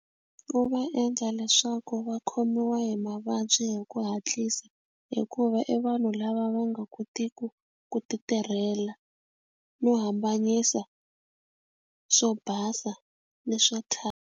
U va endla leswaku va khomiwa hi mavabyi hi ku hatlisa hikuva i vanhu lava va nga kotiku ku ti tirhela no hambanyisa swo basa ni swa .